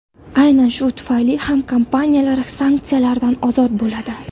Aynan shu tufayli bu kompaniyalar sanksiyalardan ozod bo‘ladi.